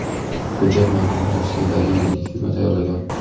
Hujjat matnini Rossiyadagi yuridik firma tayyorlagan.